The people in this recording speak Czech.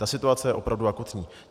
Ta situace je opravdu akutní.